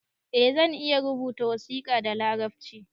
Eh zan iya rubuta wasiƙa da larabci